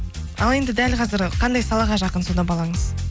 ал енді дәл қазір қандай салаға жақын сонда балаңыз